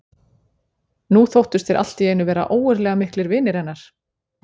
Nú þóttust þeir allt í einu vera ógurlega miklir vinir hennar.